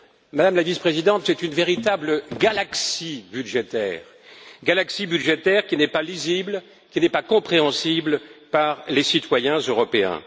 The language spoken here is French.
Madame la Présidente, c'est une véritable galaxie budgétaire, qui n'est pas lisible, qui n'est pas compréhensible par les citoyens européens.